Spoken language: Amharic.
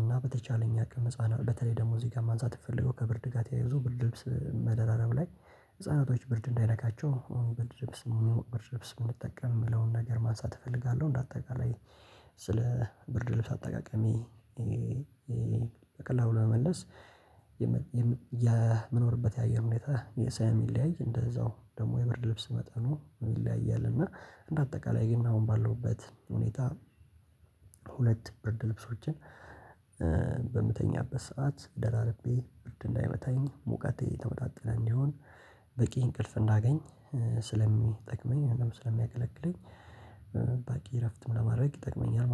እና በተቻለኝ አቅም ህፃናት በተለይ ደግሞ እዚህ ጋር ማንፃት የፈለገው ከብር ድጋት ያይዞ ብር ልብስ መደራረብ ላይ ህፃናቶች ብር እንዳይነካቸው ብር ድብስ የሚለው ብር ድብስ የሚጠቀም ለውን ነገር ማንሳት እፈልጋለሁ። እንደ አጠቃላይ ስለ ብርድ ልብስ አጠቃቀሜ። በቀላሉ ለመመለስ የምንኖርበት የአየር ሁኔታ ስለሚለያይ እንደዛው ደግሞ የብርድ ልብስ መጠኑ ይለያያል። እና እንደ አጠቃላይ ግን አሁን ባለውበት ሁኔታ ሁለት ብርድ ልብሶችን በምተኛበት ሰዓት ደራርቤ ብርድ እንዳይመታኝ ሙቀቴ ተወጣጥለኝ ይሁን በቂ እንቅልፍ እንዳገኝ ስለሚጠቅመኝ ስለሚያገለግለኝ ባቂ እረፍት ለማድረግ ይጠቅመኛል